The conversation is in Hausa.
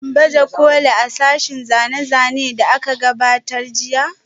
Shin baje kolin a sashen zane-zane da aka gudanar jiya?